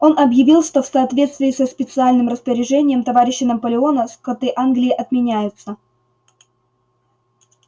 он объявил что в соответствии со специальным распоряжением товарища наполеона скоты англии отменяются